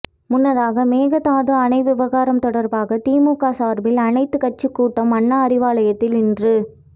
முன்னதாக மேகதாது அணை விவகாரம் தொடர்பாக திமுக சார்பில் அனைத்துக் கட்சி கூட்டம் அண்ணா அறிவாலயத்தில் இன்று